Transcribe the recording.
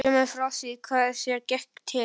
Segðu mér þá frá því hvað þér gekk til.